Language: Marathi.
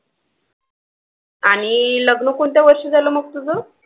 आणि लग्न कोणत्या वर्षी झालं मग तुझं?